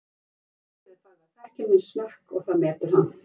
Starfsfólkið er farið að þekkja minn smekk og það metur hann.